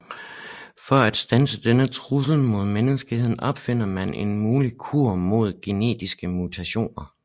For at standse denne trussel mod menneskeheden opfinder man en mulig kur mod genetisk mutation